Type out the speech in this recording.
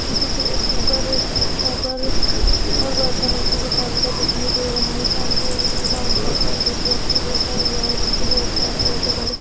इ चित्र एक कुकर की कुकर और बर्तनो की दुकान का दिखाई दे रहा है सामने एक काउंटर पर एक व्यक्ति बैठा हुआ है नीचे बोहत सारे छोटे-बड़े --